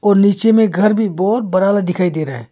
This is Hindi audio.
और नीचे में घर भी बहुत बड़ा वाला दिखाई दे रहा है।